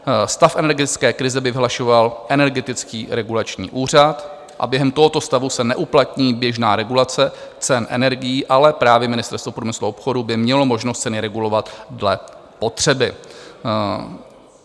Stav energetické krize by vyhlašoval Energetický regulační úřad a během tohoto stavu se neuplatní běžná regulace cen energií, ale právě Ministerstvo průmyslu a obchodu by mělo možnost ceny regulovat dle potřeby.